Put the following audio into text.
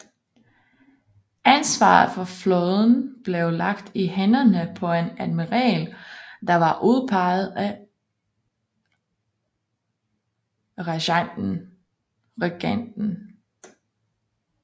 Ansvaret for flåden blev lagt i hænderne på en admiral der var udpeget af regenten